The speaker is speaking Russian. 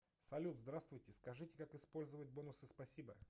салют здравствуйте скажите как использовать бонусы спасибо